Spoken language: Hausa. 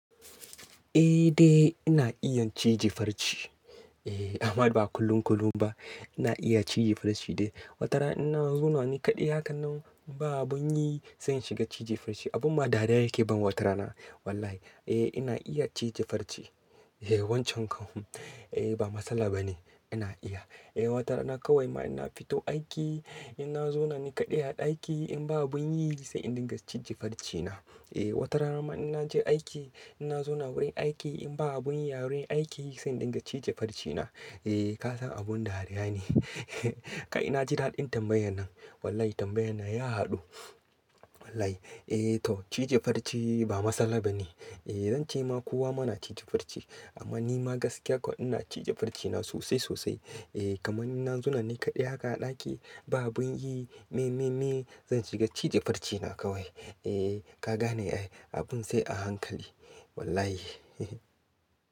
Eh dai ina iya cije farce. Eh amma ba kullum-kullum ba. Ina iya cije farce dai. Watara in zaune ni kaɗai haka nan ba abun yi sai in shiga cije farce. Abun ma dariya yake ban watara na. Wallahi eh ina iya cije farce. Eh wancan kawai. Eh ba matsala bane ina iya. Eh watara na kawai ma ina fito aiki ina zaune ni kaɗai a ɗaki in babu yin yi sai in dinga cije farce na. Eh watara ma ina je aiki ina zauna wurin aiki in ba abun yi a wurin aiki sai in dinga cije farce na. Eh ka san abun dariya ne. Kai! Na ji daɗin tambayan nan. Wallahi tambayan nan ya haɗu. Wallahi. Eh to cije farce ba matsala bane. Eh zan ce ma kowa ma na cije farce amma ni ma gaskiya kawai ina cije farce na sosai-sosai. Eh kamar ina zaune ni kaɗai haka a ɗaki ba abun yi. Me, me, me zan shiga cije farce na kawai. Eh ka gane ai abun sai a hankali. Wallahi.